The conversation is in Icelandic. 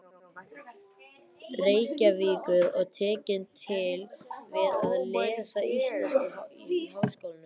Reykjavíkur og tekin til við að lesa íslensku í Háskólanum.